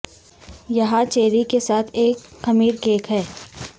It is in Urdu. یہاں تیار چیری کے ساتھ ایک خمیر کیک ہے